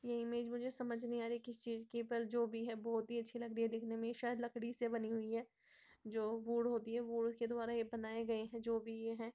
ये इमेज मुझे समझ नहीं आ रही किस चीज की है पर जो भी है बहोत ही अच्छी लग रही है दिखने में शायद लकड़ी से बनी हुई है जो वुड होती हैं वुड के द्वारा ये बनाए गए हैं जो भी ये हैं।